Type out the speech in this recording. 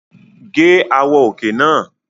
Gé àwọ̀ òkè náà!